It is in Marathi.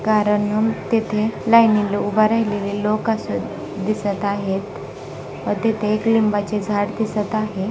करणंम तिथे लाइनीला उभा राहिलेले लोक असून दिसत आहे. तिथे एक लिंबाची झाड दिसत आहे.